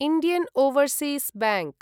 Indian Overseas bank